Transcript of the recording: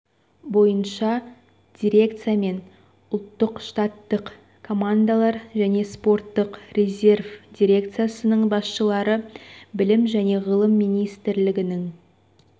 бойынша дирекция мен ұлттық штаттық командалар және спорттық резерв дирекциясының басшылары білім және ғылым министрлігінің